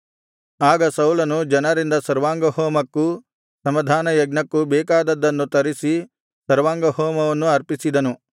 ಆಗ ಸೌಲನು ಜನರಿಂದ ಸರ್ವಾಂಗಹೋಮಕ್ಕೂ ಸಮಾಧಾನ ಯಜ್ಞಕ್ಕೂ ಬೇಕಾದದ್ದನ್ನು ತರಿಸಿ ಸರ್ವಾಂಗಹೋಮವನ್ನು ಅರ್ಪಿಸಿದನು